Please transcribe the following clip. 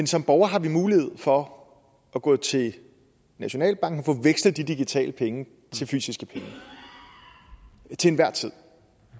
som borgere har vi mulighed for at gå til nationalbanken og få vekslet de digitale penge til fysiske penge til enhver tid